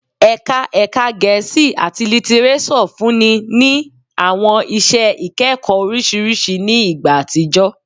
Ẹka Ẹka Gẹẹsi ati Litireso funni ni awọn iṣẹ ikẹkọ oriṣiriṣi ni igba atijọ